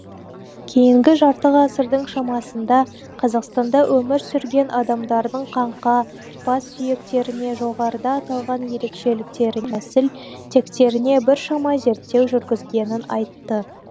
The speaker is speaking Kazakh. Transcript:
кейінгі жарты ғасырдың шамасында қазақстанда өмір сүрген адамдардың қаңқа бас сүйектеріне жоғарыда аталған ерекшеліктеріне нәсіл тектеріне біршама зерттеу жүргізгенін айтты